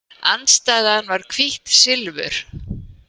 Andstæðan var hvítt silfur.